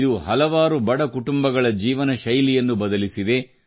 ಇದು ಹಲವಾರು ಬಡ ಕುಟುಂಬಗಳ ಜೀವನಶೈಲಿಯನ್ನು ಬದಲಿಸಿದೆ